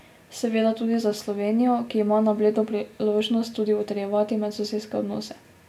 Seveda tudi za Slovenijo, ki ima na Bledu priložnost tudi utrjevati medsosedske odnose.